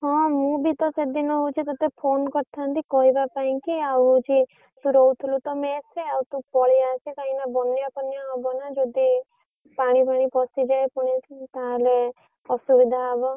ହଁ ମୁ ବି ତ ସେଦିନ ହଉଛି ତତେ phone କରିଥାନ୍ତି କହିବା ପାଇଁକି ଆଉ ହଉଛି ତୁ ରହୁଥିଲୁ ତ mess ରେ ଆଉ ତୁ ପଳେଇ ଆସେ କାଇଁକି ନା ବନ୍ୟା ଫନ୍ୟା ହବ ନା ଯଦି ପାଣି ଫାଣି ପଶିଯାଏ ଫୁଣି ତାହେଲେ ଅସୁବିଧା ହବ।